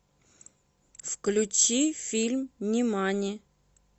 включи фильм нимани